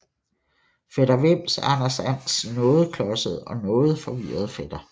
Fætter Vims er Anders Ands noget klodsede og forvirrede fætter